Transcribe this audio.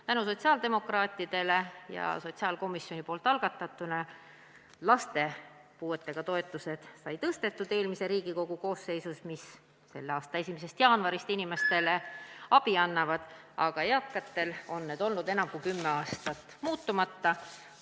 Tänu sotsiaaldemokraatidele ja sotsiaalkomisjoni algatusele sai eelmise Riigikogu koosseisus tõstetud laste- ja puuetega inimeste toetusi, mis selle aasta 1. jaanuarist inimestele abi annavad, aga eakatele mõeldud toetused on olnud enam kui kümme aastat muutmata.